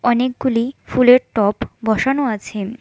অনেকগুলি ফুলের টপ বসানো আছে।